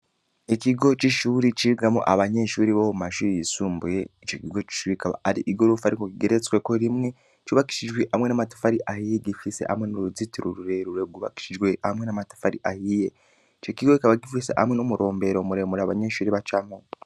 Ikigo c’ishure cigamwo abanyeshuri bo mu mashure yisumbuye, ico kigo c’ishure ikaba ari igorofa ariko igeretsweko rimwe, cubakishijwe hamwe n’amatafari ahiye, gifise hamwe n’uruzitiro rurerure, rwubakishijwe hamwe n’amatafari ahiye; ico kigo kikaba gifise hamwe n’umurombero abanyeshure bacamwo.